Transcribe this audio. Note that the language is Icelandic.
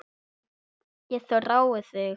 Ég þrái þig